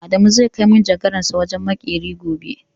Adamu zai kai manjagaransa wajen maƙeri gobe.